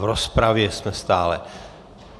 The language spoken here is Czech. V rozpravě jsme stále.